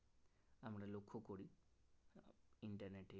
internet A